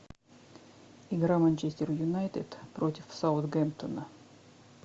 игра манчестер юнайтед против саутгемптона